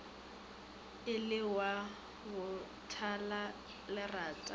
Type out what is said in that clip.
e le wa botalalerata ka